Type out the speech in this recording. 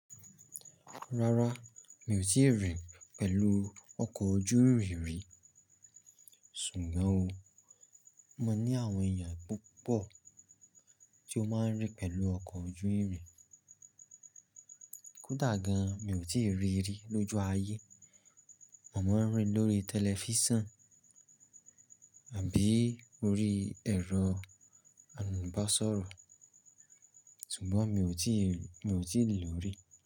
Rárá, mi ò tíì rìn pẹ̀lú ọkọ̀ ojú irin rí. Ṣùgbọ́n o, mo mọ̀ ní àwọn èèyàn púpọ̀ tí ó máa ń rìn pẹ̀lú ọkọ̀ ojú irin. Kódà gan, mi ò tíì ríri lójú ayé. Mo máa ń rí lórí tẹlifíṣàn àbí orí ẹ̀rọ amúnábásọ̀rọ̀, ṣùgbọ́n mi ò tíì, mi ò tíì lò rí.